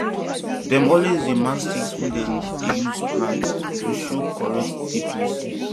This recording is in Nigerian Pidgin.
dem always dey mark sticks wey dem dey use plant to show correct deepness